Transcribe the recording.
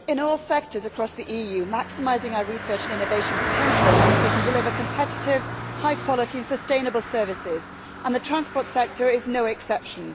Mr President, in all sectors across the EU, maximising our research and innovation potential means we can deliver competitive, high quality and sustainable services, and the transport sector is no exception.